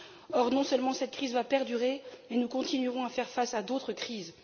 Or, non seulement cette crise va perdurer, mais nous continuerons à faire face à d'autres crises.